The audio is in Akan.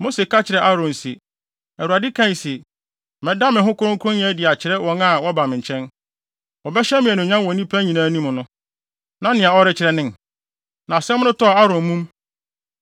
Mose ka kyerɛɛ Aaron se, Awurade kae se, “ ‘Mɛda me ho kronkronyɛ adi akyerɛ wɔn a wɔba me nkyɛn; wɔbɛhyɛ me anuonyam wɔ nnipa nyinaa anim no, na nea ɔrekyerɛ nen.’” Na asɛm no tɔɔ Aaron mum.